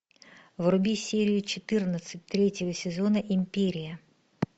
вруби серию четырнадцать третьего сезона империя